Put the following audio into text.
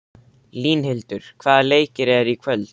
Línhildur, hvaða leikir eru í kvöld?